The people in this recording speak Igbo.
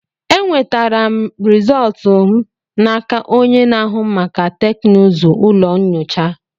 Enwetara m rizọtụ m n'aka onye na-ahụ maka teknụzụ ụlọ nyocha.